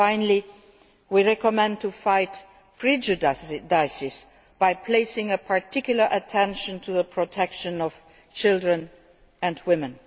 Finally, we recommend fighting prejudices by placing particular attention to the protection of children and women.